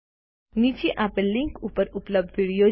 નીચે આપેલ લીનક ઉપર ઉપલબ્ધ વિડીઓ જુઓ